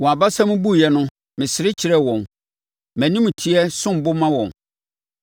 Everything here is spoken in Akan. Wɔn abasa mu buiɛ no, mesere kyerɛɛ wɔn; mʼanimteɛ som bo ma wɔn.